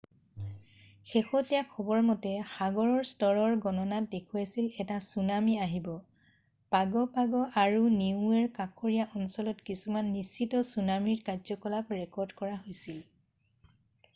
শেহতীয়া খবৰ মতে সাগৰ স্তৰৰ গণনাত দেখুৱাইছিল এটা ছুনামী আহিব পাগ' পাগ' আৰু নিউৱেৰ কাষৰীয়া অঞ্চলত কিছুমান নিশ্চিত ছুনামীৰ কাৰ্যকলাপ ৰেকৰ্ড কৰা হৈছিল